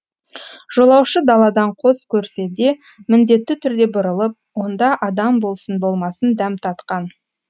жолаушы даладан қос көрсе де міндетті түрде бұрылып онда адам болсын болмасын дәм татқан